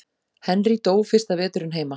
Henry dó fyrsta veturinn heima.